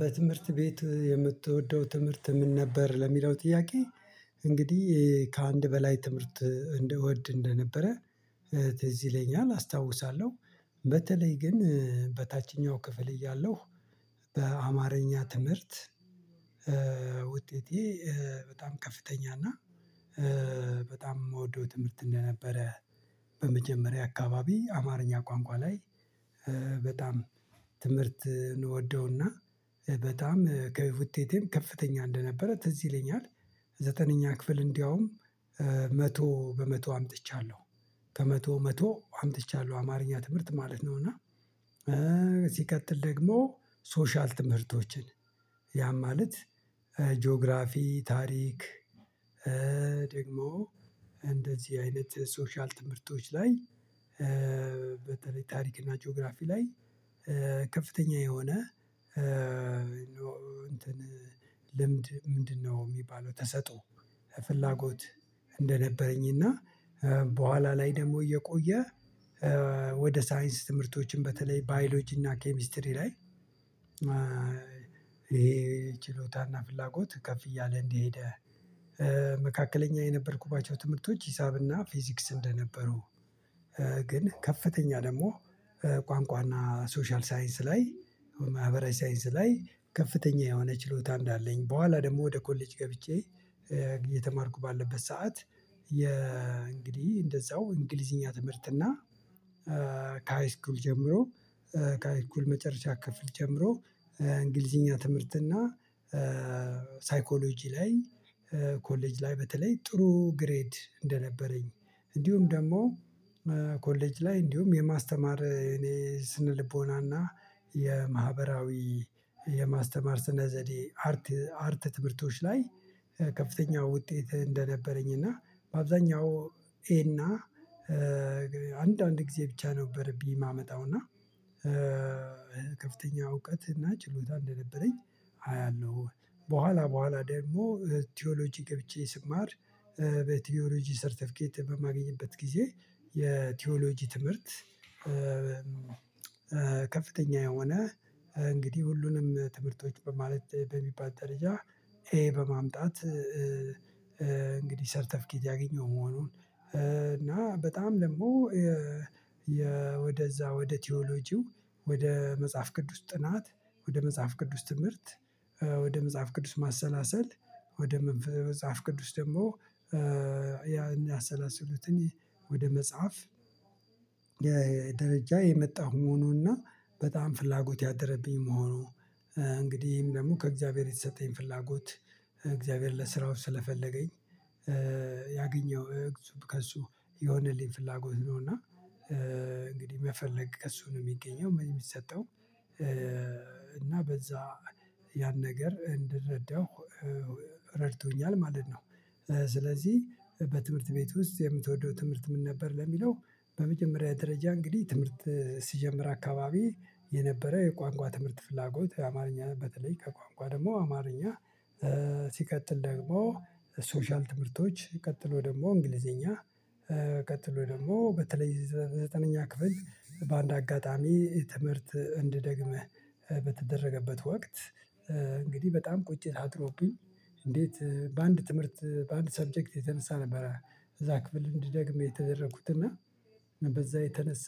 በትምህርት ቤት የምትወደው ትምህርት ምን ነበር ለሚለው ጥያቄ እንግዲህ ከአንድ በላይ ትምህርት እንደ ወድ እንደነበረ። ትዝ ይለኛል አስታውሳለሁ። በተለይ ግን በታችኛው ክፍል እያለሁ በአማርኛ ትምህርት ውጤቴ በጣም ከፍተኛ እና በጣም የምወደው ትምህርት እንደነበረ። አካባቢ አማርኛ ቋንቋ ላይ በጣም ትምህርት እንወደውና በጣም ከውጤቴም ከፍተኛ እንደነበረ ትዝ ይለኛል። ዘጠነኛ ክፍል እንደውም መቶ በመቶ አምጥቻለሁ። ከመቶ መቶ አምጥቻለሁ አማርኛ ትምህርት ማለት ነው እና። ሲቀጥል ደግሞ ሶሻል ትምህርቶችን ያም ማለት ጂኦግራፊ ታሪክ ደግሞ እንደዚህ አይነት ሶሻል ትምህርቶች ላይ በተለይ ታሪክ እና ጂኦግራፊ ላይ ከፍተኛ የሆነ። እንትን ልምድ ምንድነው የሚባለው ተሰጦ ፍላጎት እንደነበረኝ። እና በኋላ ላይ ደግሞ እየቆየ ወደ ሳይንስ ትምህርቶችም በተለይ ባዮሎጂና ኬሚስትሪ ላይ። ይሄ ችሎታና ፍላጎት ከፍ እያለ እንደሄደ። መካከለኛ የነበርኩባቸው ትምህርቶች ሂሳብና ፊዚክስ እንደነበሩ። ግን ከፍተኛ ደግሞ ቋንቋና ሶሻል ሳይንስ ላይ ማህበራዊ ሳይንስ ላይ ከፍተኛ የሆነ ችሎታ እንዳለኝ በኋላ ደግሞ ወደ ኮሌጅ ገብቼ። የተማርኩ ባለበት ሰዓት የእንግዲህ እንደዛው እንግሊዝኛ ትምህርትና ከሃይስኩል ጀምሮ ከመጨረሻ ክፍል ጀምሮ እንግሊዝኛ ትምህርትና ሳይኮሎጂ ላይ ኮሌጅ ላይ በተለይ ጥሩ ግሬድ እንደነበረኝ። እንዲሁም ደግሞ ኮሌጅ ላይ እንዲሁም የማስተማር እኔ ስነልቦናና የማህበራዊ የማስተማር ስነ ዘዴ አርት አርት ትምህርቶች ላይ ከፍተኛው ውጤት እንደነበረኝ። እና በአብዛኛው ኤ እና አንዳንድ ጊዜ ብቻ ነበር ቢ የማመጣው እና። ከፍተኛ እውቀት እና ችሎታ እንደነበረኝ አያለሁ በኋላ በኋላ ደግሞ ቲዎሎጂ ገብቼ ስማር በቲዎሎጂ ሰርተፊኬት በማገኝበት ጊዜ የቲዎሎጂ ትምህርት። ከፍተኛ የሆነ እንግዲህ ሁሉንም ትምህርቶች በማለት በሚባል ደረጃ ኤ በማምጣት። እንግዲህ ሰርተፍኬት ያገኘው መሆኑን። እና በጣም ደግሞ የ ወደዛ ወደ ቲዎሎጂው ወደ መጽሐፍ ቅዱስ ጥናት ወደ መጽሐፍ ቅዱስ ትምህርት ወደ መጽሐፍ ቅዱስ ማሰላሰል ወደ መጽሐፍ ቅዱስ ደግሞ ያን ያሰላስሉትን ወደ መጽሐፍ የደረጃ የመጣሁ መሆኑንና በጣም ፍላጎት ያደረብኝ መሆኑ። እንግዲህም ደግሞ ከእግዚአብሔር የተሰጠኝ ፍላጎት እግዚአብሔር ለስራው ስለፈለገኝ ያገኘው ከእሱ የሆነልኝ ፍላጎት ነው። እና እንግዲህ መፈለግ ከእሱ ነው የሚገኘው የሚሰጠው። እና በዛ ያን ነገር እንድረዳው ረድቶኛል ማለት ነው። ስለዚህ በትምህርት ቤት ውስጥ የምትወደው ትምህርት ምን ነበር ለሚለው? በመጀመሪያ ደረጃ እንግዲህ ትምህርት ሲጀምር አካባቢ የነበረ የቋንቋ ትምህርት ፍላጎት አማርኛ በተለይ ከቋንቋ ደግሞ አማርኛ ሲቀጥል ደግሞ ሶሻል ትምህርቶች ቀጥሎ ደግሞ እንግሊዘኛ። ቀጥሎ ደግሞ በተለይ ዘጠነኛ ክፍል በአንድ አጋጣሚ ትምህርት እንድደግምህ በተደረገበት ወቅት። እንግዲህ በጣም ቁጭት አድሮብኝ እንዴት በአንድ ትምህርት በአንድ ሳብጀክት የተነሳ ነበረ። እዛ ክፍል እንድደግም የተደረኩት እና በዛ የተነሳ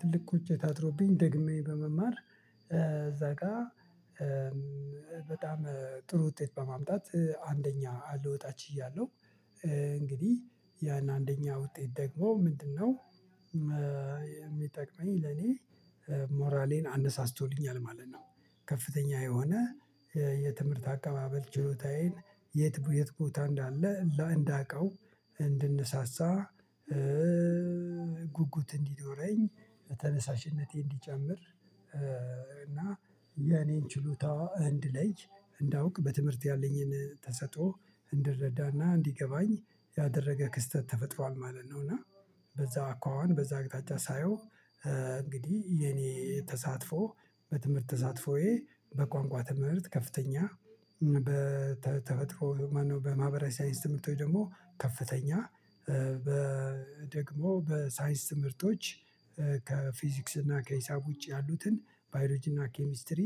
ትልቅ ቁጭት አድሮብኝ ደግሜ በመማር እዛ ጋር። በጣም ጥሩ ውጤት በማምጣት አንደኛ ልወጣች ችያለሁ። እንግዲህ ያን አንደኛው ውጤት ደግሞ ምንድነው? የሚጠቅመኝ ለኔ ሞራሌን አነሳስቶልኛል ማለት ነው። ከፍተኛ የሆነ የትምህርት አቀባበል ችሎታዬን የት የት ቦታ እንዳለ እንዳውቀው እንድነሳሳ። ጉጉት እንዲኖረኝ ተነሳሽነቴ እንዲጨምር። እና የኔን ችሎታ እንድለይ እንዳውቅ በትምህርት ያለኝን ተሰጥኦ እንድረዳና እንዲገባኝ ያደረገ ክስተት ተፈጥሯል ማለት ነው። እና በዛ አኳኋን በዛ አቅጣጫ ሳየው። እንግዲህ የኔ ተሳትፎ በትምህርት ተሳትፎዬ በቋንቋ ትምህርት ከፍተኛ በተፈጥሮ ማነው በማህበራዊ ሳይንስ ትምህርት ወይ ደግሞ ከፍተኛ? ደግሞ በሳይንስ ትምህርቶች ከፊዚክስ እና ከሂሳብ ውጪ ያሉትን ባዮሎጂና ኬሚስትሪ